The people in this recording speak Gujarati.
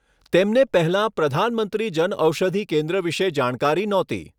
તેમને પહેલાં પ્રધાનમંત્રી જનઔષધિ કેન્દ્ર વિશે જાણકારી નહોતી.